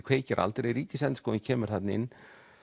kveikir aldrei Ríkisendurskoðun kemur þarna inn